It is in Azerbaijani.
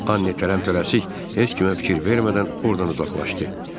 Anne tələm-tələsik heç kimə fikir vermədən oradan uzaqlaşdı.